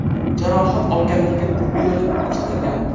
Jarohat olganlarga tibbiy yordam ko‘rsatilgan.